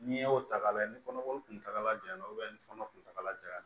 N'i y'o ta k'a lajɛ ni kɔnɔko kuntagala jan don ni kɔnɔ kuntagala janya na